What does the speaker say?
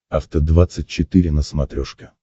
афта двадцать четыре на смотрешке